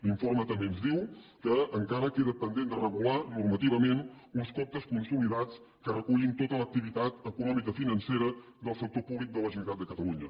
l’informe també ens diu que encara queden pendents de regular normativament uns comptes consolidats que recullin tota l’activitat econòmica i financera del sector públic de la generalitat de catalunya